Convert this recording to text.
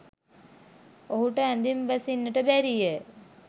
ඔහුට ඇඳෙන් බසින්ට බැරිය